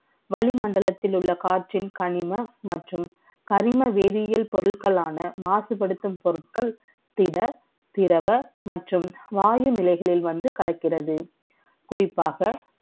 வளிமண்டலத்தில் உள்ள காற்றின் கனிமம் மற்றும் கர்ம வேதிய பொருட்கள் ஆன மாசுபடுத்தும் பொருட்கள் திட திரவ மற்றும் வாயு நிலைகளில் வந்து கலக்கிறது